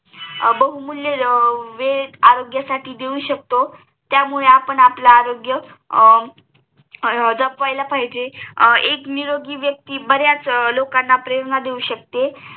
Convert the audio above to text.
बहुमूल्य वेळ आरोग्याससाठी देऊ शकतो त्यामुळे आपण आपले आरोग्य जपायला पाहिजे एक निरोगी व्यक्ती बऱ्याच लोकाना प्रेरणा देऊ शकते